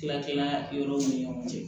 Tila tila yɔrɔw ni ɲɔgɔn cɛ